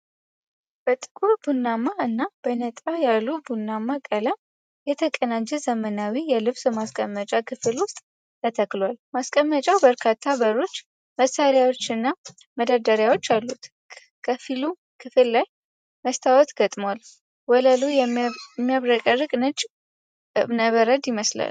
በጥቁር ቡናማ እና በነጣ ያለ ቡናማ ቀለም የተቀናጀ ዘመናዊ የልብስ ማስቀመጫ ክፍል ውስጥ ተተክሏል። ማስቀመጫው በርካታ በሮች፣ መሳቢያዎች እና መደርደሪያዎች አሉት። ከፊሉ ክፍል ላይ መስታወት ተገጥሟል፤ ወለሉ የሚያብረቀርቅ ነጭ እብነበረድ ይመስላል።